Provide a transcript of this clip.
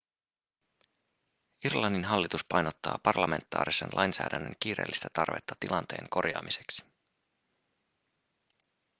irlannin hallitus painottaa parlamentaarisen lainsäädännön kiireellistä tarvetta tilanteen korjaamiseksi